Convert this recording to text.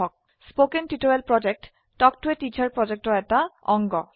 কথন শিক্ষণ প্ৰকল্প তাল্ক ত a টিচাৰ প্ৰকল্পৰ এটা অংগ